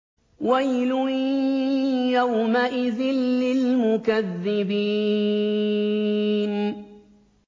وَيْلٌ يَوْمَئِذٍ لِّلْمُكَذِّبِينَ